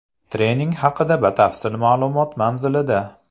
Trening haqida batafsil ma’lumot manzilida.